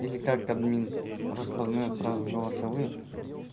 или как админ распознает сразу голосовые